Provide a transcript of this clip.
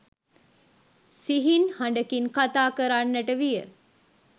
සිහින් හඬකින් කථා කරන්නට විය